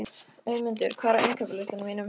Auðmundur, hvað er á innkaupalistanum mínum?